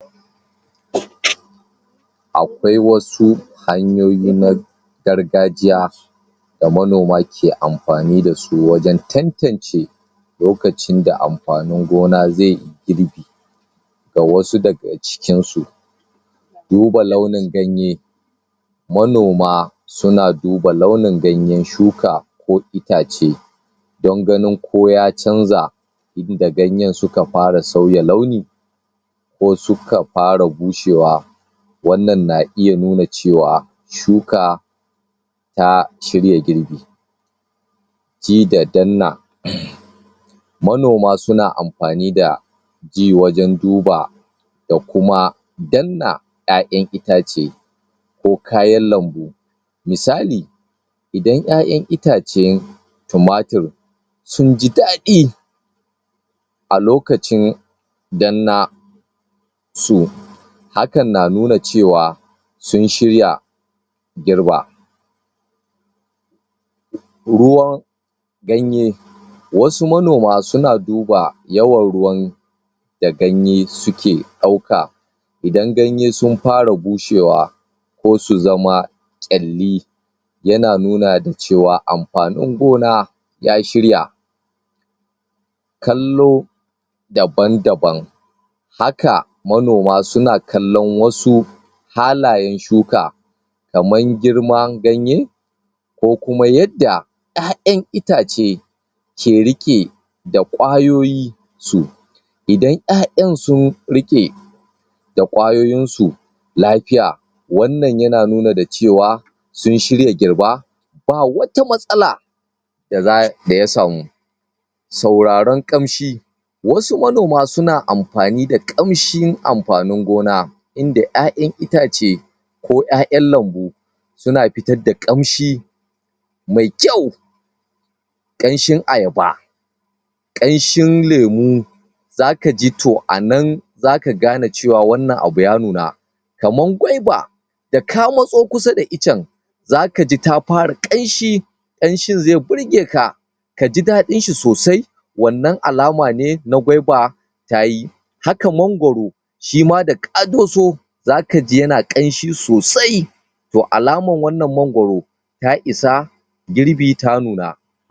akwai wasu hanyoyi na gargajiya da manoma ke amfani dasu wajan tantan ce lokacin da amfanin gona zeyi girbi da wasu daga cikin su duba launin ganye manoma suna duba launin ganyen shuka ko itace don ganin ko ya canza inda ganyen suka fara sauya launi ko suka fara bushewa wannan na iya nuna cewa shuka ta shirya girbi ji da danna um manoma suna amfani da ji wajan duba da kuma danna ƴaƴan itace ko kayan lambu misali idan ƴaƴan itace tumatur sunji daɗi a lokacin danna su hakan na nuna cewa sun shirya girba ruwan ganye wasu manoma suna duba yawan ruwan da ganye suke ɗauka idan ganye sun fara bushewa ko su zama ƙyalli yana nuna da cewa amfanin gona ya shirya kallo daban daban haka manoma suna kallon wasu halayen shuka kamar girman ganye ko kuma yadda ƴaƴan itace ke riƙe da ƙwayoyin su idan ƴaƴan sun riƙe da ƙwayoyinsu lafiya wannan yana nuna da cewa sun shirya girba ba wata matsala daza daya samu sauraron ƙamshi wasu manoma suna amfani da ƙamshin amfanin gona inda ƴaƴan itace ko ƴaƴan lambu suna fitar da ƙanshi me kyau ƙanshin ayaba ƙanshin lemu zaka ji to anan zaka gane cewa wanna abu ya nuna kaman gwaiba daka matso kusa da ican zaka ji ta fara ƙanshi ƙanshin ze burgeka kaji daɗinshi sosai wannan alama ne na gwaiba tayi haka mangwaro shima daka dosu zaka ji yana ƙanshi sosai to alamar wannan mangwaro ta isa girbi ta nuna